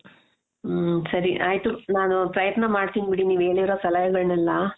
ಹಮ್ ಸರಿ ಆಯಿತು ನಾನು ಪ್ರಯತ್ನ ಮಾಡ್ತೀನಿ ಬಿಡಿ ನೀವ್ ಹೇಳಿರೋ ಸಲಹೆಗಳನ್ನೆಲ್ಲ